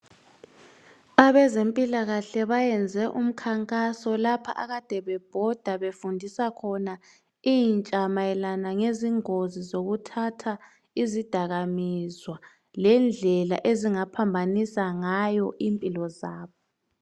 Abezempilakahle bayenze umkhankaso lapha akade bebhoda befundisa khona intsha mayelana ngezingozi zokuthatha izidakamizwa lendlela ezingaphambanisa ngayo impilo zabo.